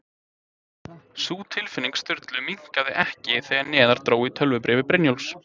Sú tilfinning Sturlu minnkaði ekki þegar neðar dró í tölvubréfi Brynjólfs